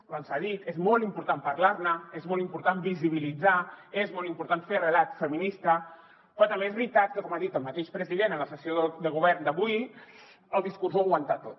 abans s’ha dit és molt important parlar ne és molt important visibilitzar és molt important fer relat feminista però també és veritat que com ha dit el mateix president en la sessió de govern d’avui el discurs ho aguanta tot